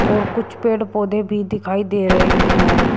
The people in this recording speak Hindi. और कुछ पेड़ पौधे भी दिखाई दे रहे हैं।